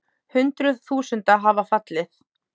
Hundruð þúsunda hafa fallið.